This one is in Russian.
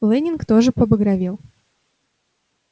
лэннинг тоже побагровел